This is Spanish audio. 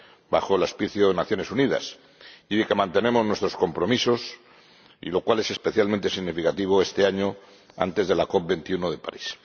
bajo el auspicio de Naciones Unidas, y de que mantenemos nuestros compromisos, lo cual es especialmente significativo este año, antes de la COP 21 de París.